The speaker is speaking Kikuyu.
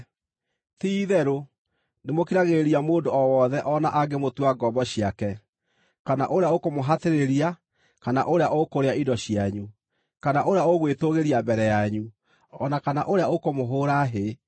Ti-itherũ, nĩmũkiragĩrĩria mũndũ o wothe o na angĩmũtua ngombo ciake, kana ũrĩa ũkũmũhatĩrĩria, kana ũrĩa ũkũrĩa indo cianyu, kana ũrĩa ũgwĩtũũgĩria mbere yanyu, o na kana ũrĩa ũkũmũhũũra hĩ.